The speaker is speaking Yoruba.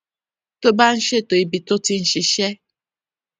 tó bá ń ṣètò ibi tó ti ń ṣiṣé